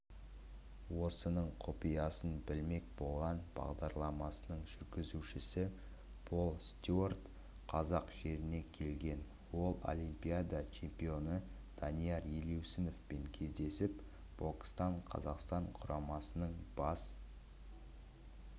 осының құпиясын білмек болған бағдарламасының жүргізушісі пол стюарт қазақ жеріне келген ол олимпиада чемпионы данияр елеусіновпен кездесіп бокстан қазақстан құрамасының бас